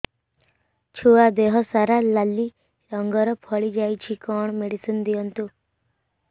ଛୁଆ ଦେହ ସାରା ନାଲି ରଙ୍ଗର ଫଳି ଯାଇଛି କଣ ମେଡିସିନ ଦିଅନ୍ତୁ